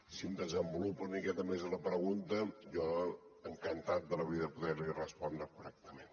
si em desenvolupa una miqueta més la pregunta jo encantat de la vida de poder li respondre correctament